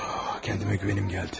Özümə güvənim gəldi.